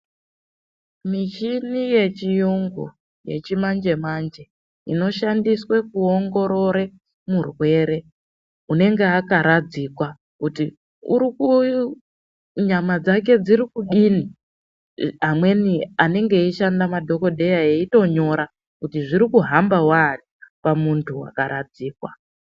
Michini yechiyungu yechimanje-manje inoshandiswe kuongorore murwere unenge akaradzikwa kuti nyama dzake dzirikudini, amweni anenge eishanda madhogodheya eitonyora kuti zvrikuhamba waani pamuntu wakaradzikwa.